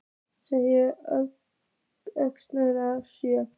Sneggsta jöfnunarmark sögunnar?